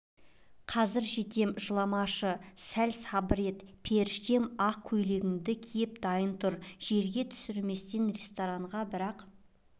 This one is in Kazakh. қазір жетем жыламашы сәл сабыр ет періштем ақ көйлегіңді киіп дайын тұр жерге түсірместен ресторанға бір-ақ